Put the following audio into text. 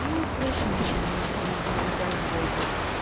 ну впрочем ничего особого у каждого идёт